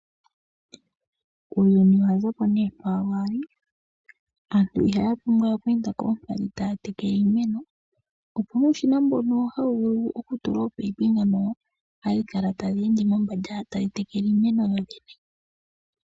Uuyuni showahuma komeho. Ookapyoko oyalongoko uushina wokutekela iimeno yomiikunino iinene. Omashina ngaka ohaga tulwa mombanda gaandjakana oshikunino ashihe opo kehe shimwe shilimo shitekelwe.